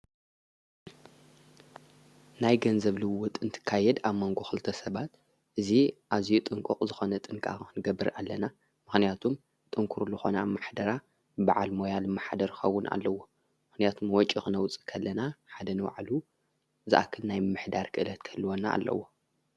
ናይ ገንዘብልዎ ጥንቲ ካየድ ኣብ መንጎኽልተ ሰባት እዙ ኣዙይ ጥንቁቕ ዝኾነ ጥንቃንገብር ኣለና ምኽንያቱም ጥንክሩ ለኾነ ብ ማኅደራ በዓል ሞያል ማኃደርኸውን ኣለዎ ምኽንያቱም ወጭኽነውፅ ኸለና ሓደን ዋዕሉ ዝኣክን ናይ ምኅዳር ክእለት ከልወና ኣለዎ።